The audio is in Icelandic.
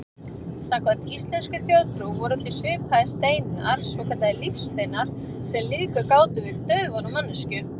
Samkvæmt íslenskri þjóðtrú voru til svipaðir steinar, svokallaðir lífsteinar, sem lífgað gátu við dauðvona manneskjur.